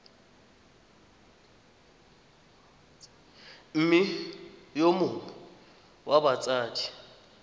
mme yo mongwe wa batsadi